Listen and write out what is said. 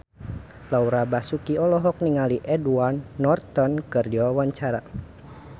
Laura Basuki olohok ningali Edward Norton keur diwawancara